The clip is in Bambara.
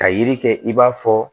Ka yiri kɛ i b'a fɔ